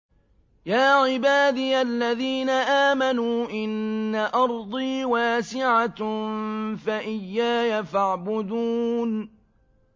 يَا عِبَادِيَ الَّذِينَ آمَنُوا إِنَّ أَرْضِي وَاسِعَةٌ فَإِيَّايَ فَاعْبُدُونِ